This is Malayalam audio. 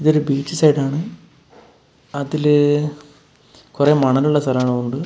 ഇതൊരു ബീച്ച് സൈഡാണ് അതില് കൊറെ മണലുള്ള സ്ഥലങ്ങളുണ്ട്.